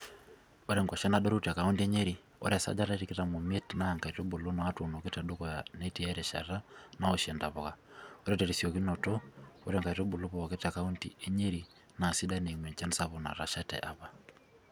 Ore nkuashen adorru te kaunti e Nyeri, ore esajata e tikitam omiet oo nkaitubu naa tuunoki te dukuya netii erishata nawoshie ntapuka, ore teriosiokinoto ore nkaitubulu pooki te kaunti e Nyeri naa sidan eimu enchan sapuk natasha te apa.